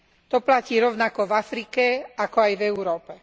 To platí rovnako v Afrike, ako aj v Európe.